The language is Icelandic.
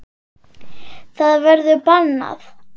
Það verður bannað.